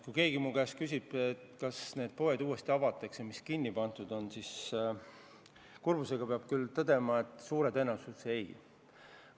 Kui keegi mu käest küsib, kas need kinni pandud poed uuesti avatakse, siis kurbusega peab küll tõdema, et suure tõenäosusega mitte.